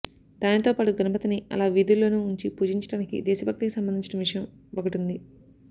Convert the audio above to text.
దానితో పాటు గణపతిని అలా వీధుల్లోనూ ఉంచి పూచించడానికి దేశభక్తికి సంబందించిన విషయం వకటుంది